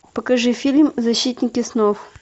покажи фильм защитники снов